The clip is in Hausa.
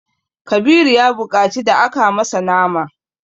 Kabiru ya buƙaci da aka masa nama.